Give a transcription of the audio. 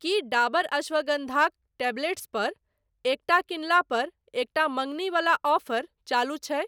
की डाबर अश्वगंधाक टेबलेट्स पर एकटा किनला पर एकटा मँगनी वला ऑफर चालू छै?